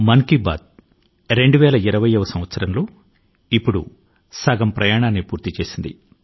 మన్ కీ బాత్ మనసు లో మాట ఇప్పుడు 2020 వ సంవత్సరం లో తన ప్రయాణం లో సగం మార్కు ను సాధించింది